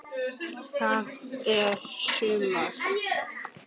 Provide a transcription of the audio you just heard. Það er sumar.